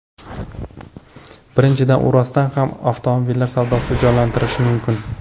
Birinchidan, u rostdan ham avtomobillar savdosini jonlantirishi mumkin.